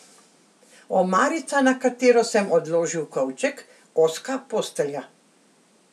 Omarica, na katero sem odložil kovček, ozka postelja.